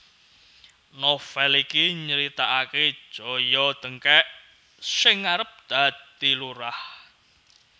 Novel iki nyritaake Joyo Dengkek sing arep dadi lurah